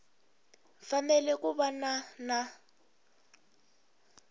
fanele ku va na na